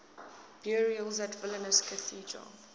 burials at vilnius cathedral